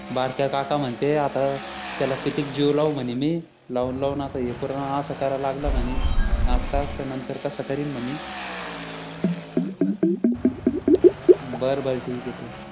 बारक्या काका म्हणते आता त्याला कितीक जीव लावू म्हणे मी लावून लावून हे पूर्ण असं कराय लागलं म्हणे आत्ताच त नंतर कसं करीन म्हणे ठेऊ का बरं बरं ठीक ये ठेव